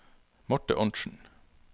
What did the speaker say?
Marthe Arntzen